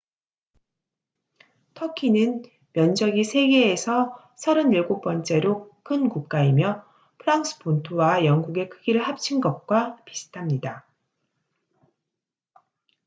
터키는 면적이 세계에서 37번째로 큰 국가이며 프랑스 본토와 영국의 크기를 합친 것과 비슷합니다